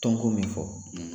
Tɔn ko min fɔ,